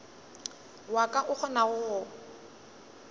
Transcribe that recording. wa ka o kgonago go